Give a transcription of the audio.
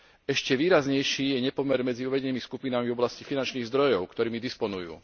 Ešte výraznejší je nepomer medzi uvedenými skupinami v oblasti finančných zdrojov, ktorými disponujú.